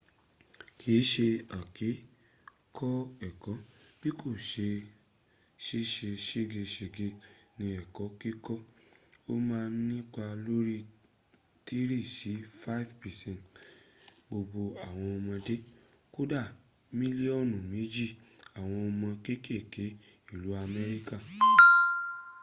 kìn ṣe àìkè kọ́ ẹ̀kọ́ bí kò ṣe ṣìṣe ségeṣège ní ẹ̀kọ́ kíkọ́ ó ma ń nípa lórí 3-5 percent gbogbo àwọn ọmọdé kódà mílíọ́nù méjì àwọn ọmọ kékèké ìlú amékíkà